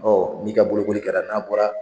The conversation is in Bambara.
Ɔ n'i ka bolokoli kɛra n'a bɔra